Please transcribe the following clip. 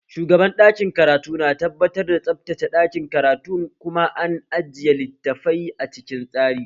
Shugaban ɗakin karatu na tabbatar da tsabtace ɗakin karatun kuma an ajiye littafai a cikin tsari